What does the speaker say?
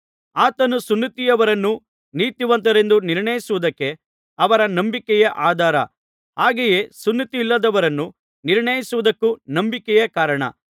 ಆತನು ಸುನ್ನತಿಯವರನ್ನು ನೀತಿವಂತರೆಂದು ನಿರ್ಣಯಿಸುವುದಕ್ಕೆ ಅವರ ನಂಬಿಕೆಯೇ ಆಧಾರ ಹಾಗೆಯೇ ಸುನ್ನತಿಯಿಲ್ಲದವರನ್ನು ನಿರ್ಣಯಿಸುವುದಕ್ಕೂ ನಂಬಿಕೆಯೇ ಕಾರಣ